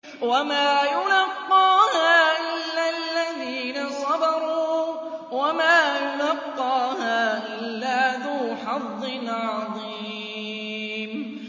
وَمَا يُلَقَّاهَا إِلَّا الَّذِينَ صَبَرُوا وَمَا يُلَقَّاهَا إِلَّا ذُو حَظٍّ عَظِيمٍ